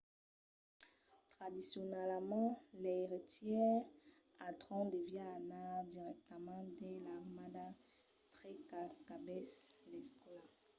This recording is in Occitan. tradicionalament l’eiretièr al tròn deviá anar dirèctament dins l‘armada tre qu’acabèsse l’escòla